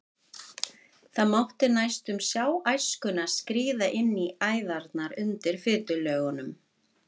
Það mátti næstum sjá æskuna skríða inn í æðarnar undir fitulögunum.